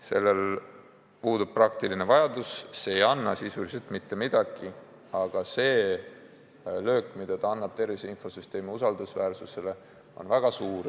Sellel sättel puudub praktiline vajadus, see ei anna sisuliselt mitte midagi, aga see löök, mille see annab tervise infosüsteemi usaldusväärsusele, on väga suur.